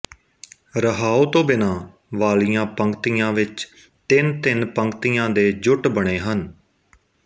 ਰਹਾਉ ਤੋ ਬਿਨਾ ਵਾਲੀਆ ਪੰਕਤੀਆ ਵਿੱਚ ਤਿੰਨ ਤਿੰਨ ਪੰਕਤੀਆ ਦੇ ਜੁਟ ਬਣੇ ਹਨ